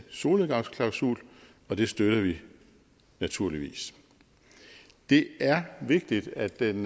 solnedgangsklausul og det støtter vi naturligvis det er vigtigt at den